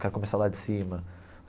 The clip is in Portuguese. Quero começar lá de cima.